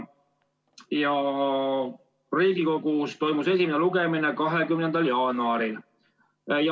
Riigikogus toimus esimene lugemine 20. jaanuaril.